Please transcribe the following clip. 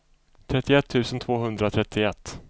trettioett tusen tvåhundratrettioett